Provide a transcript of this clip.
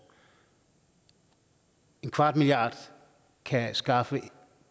en kvart milliard kan skaffe